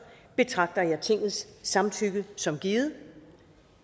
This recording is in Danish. betragter jeg tingets samtykke som givet